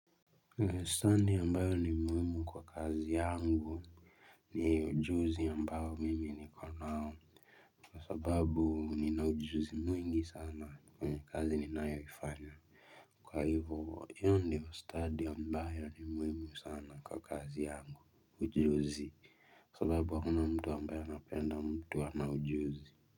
Lesson ambayo ni muhimu kwa kazi yangu. Ni ujuzi ambao mimi niko nao kwa sababu nina ujuzi mwingi sana kwa kazi ninayofanya, kwa hivyo hiyo ndio study ambayo ni muhimu sana kwa kazi yangu, kwa sababu hamna mtu ambaye anapenda mtu ambae hana ujuzi.